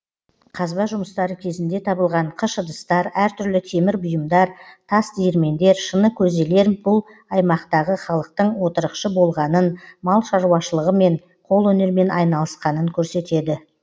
қазба жұмыстары кезінде табылған қыш ыдыстар әр түрлі темір бұйымдар тас диірмендер шыны көзелер бұл аймақтағы халықтың отырықшы болғанын мал шаруашылығымен қолөнермен айналысқанын көрсетеді